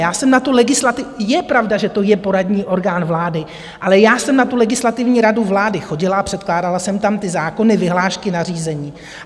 Je pravda, že to je poradní orgán vlády, ale já jsem na tu Legislativní radu vlády chodila a předkládala jsem tam ty zákony, vyhlášky, nařízení.